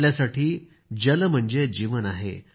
आपल्यासाठी जल म्हणजे जीवन आहे